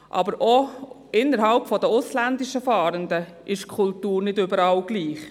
Aber auch innerhalb der ausländischen Fahrenden ist die Kultur nicht überall gleich.